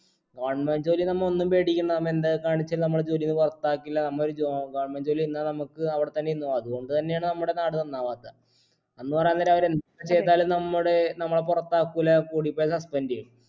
government ജോലി നമ്മ ഒന്നും പേടിക്കണ്ട നമ്മ എന്തൊക്കെ കാണിച്ചാലു നമ്മളെ ജോലീന്ന് പൊറത്താക്കില്ല നമ്മ ഒരു job ആ government ജോലി ഇന്നാ നമ്മുക്ക് അവിടത്തന്നെ ഇരുന്ന അതു കൊണ്ട് തന്നെയാണ് നമ്മുടെ നാട് നന്നാവാത്തെ എന്ന് പറയാൻ നേരം അവര് എന്ത് ചെയ്താലും നമ്മുടെ നമ്മളെ പൊറത്താക്കൂല്ല കൂടിപ്പോയാ suspend എയ്യും